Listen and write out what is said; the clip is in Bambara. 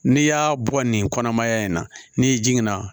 N'i y'a bɔ nin kɔnɔmaya in na n'i jiginna